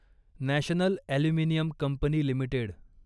national aluminium company limited